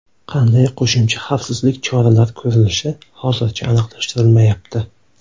Qanday qo‘shimcha xavfsizlik choralar ko‘rilishi hozircha aniqlashtirilmayapti.